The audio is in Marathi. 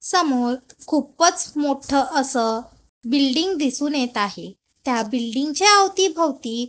समोर खूपच मोठं असं बिल्डिंग दिसून येत आहे त्या बिल्डिंग च्या अवतीभवती --